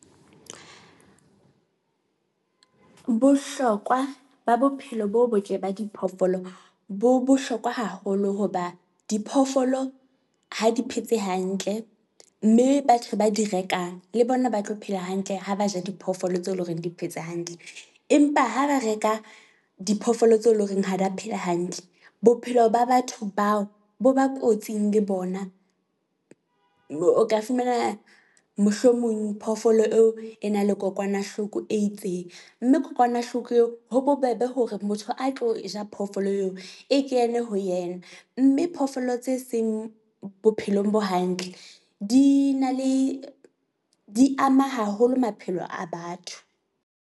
Bohlokwa ba bophelo bo botle ba diphoofolo bo bohlokwa haholo hoba diphoofolo ha di phetse hantle, mme batho ba di rekang le bona ba tlo phela hantle ha ba ja diphoofolo tse loreng di phetse hantle. Empa ha ba reka diphoofolo tse leng horeng ha ba phela hantle, bophelo ba batho bao bo ba kotsing le bona. Moo o ka fumana mohlomong phoofolo eo e nang le kokwanahloko e itseng, mme kokwanahloko eo ho bobebe hore motho a tlo ja phoofolo eo e kene ho yena. Mme phoofolo tse seng bophelong bo hantle di na le di ama haholo maphelo a batho.